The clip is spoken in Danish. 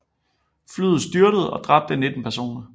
Flyet styrtede og dræbte 19 personer